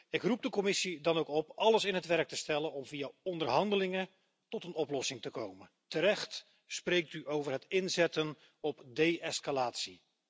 Ik roep de Commissie dan ook op alles in het werk te stellen om via onderhandelingen tot een oplossing te komen. Terecht spreekt u over het inzetten op de escalatie.